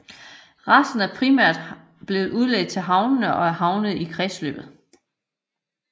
Resten er primært blevet udledt til havene og er havnet i kredsløbet